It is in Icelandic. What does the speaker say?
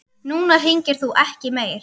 Núna hringir þú ekki meir.